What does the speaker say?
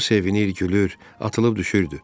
O sevinir, gülür, atılıb düşürdü.